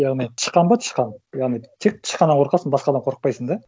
яғни тышқан ба тышқан яғни тек тышқаннан қорқасың басқадан қорықпайсың да